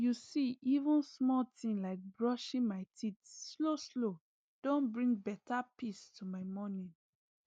you see even small thing like brushing my teeth slowslow don bring better peace to my morning